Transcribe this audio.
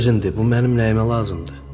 Özündür, bu mənim nəyimə lazımdır?